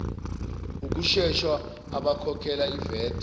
ukusesha abakhokhela ivat